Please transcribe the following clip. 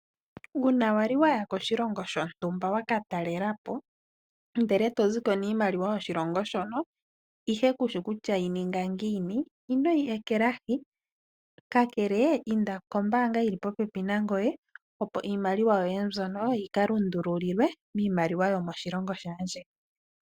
Uuna wali waya koshilongo shontumba waka talelapo ndele eto ziko niimaliwa yoshilongo shono ihe kushi kutya yi ninga ngiini inoyi ekelahi ka kele inda kombaanga yili popepi nangoye opo iimaliwa yoye mbyono yika lundululilwe miimaliwa yomoshilongo shaandjeni.